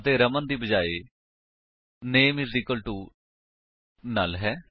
ਅਤੇ ਰਮਨ ਦੇ ਬਜਾਏ name is equal to null ਹੈ